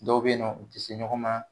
Dɔw be ye nɔn u te ɲɔgɔn ma